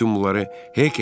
Bütün bunları Hek edib.